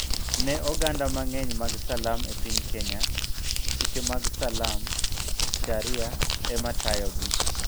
Ne oganda mang'eny mag Salam e piny Kenya, chike mag Salam (Sharia) ema tayogi